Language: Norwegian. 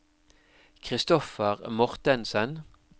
Kristoffer Mortensen